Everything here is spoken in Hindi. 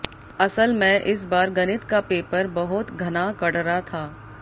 असल मैं इस बार गणित का पेपर बहोत घणा करड़ा था